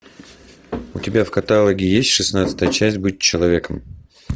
у тебя в каталоге есть шестнадцатая часть быть человеком